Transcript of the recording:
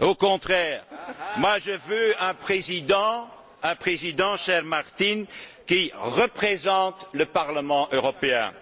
Au contraire, je veux un Président, cher Martin, qui représente le Parlement européen,